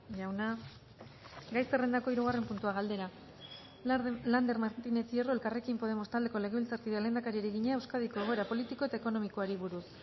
jauna gai zerrendako hirugarren puntua galdera lander martínez hierro elkarrekin podemos taldeko legebiltzarkideak lehendakariari egina euskadiko egoera politiko eta ekonomikoari buruz